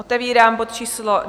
Otevírám bod číslo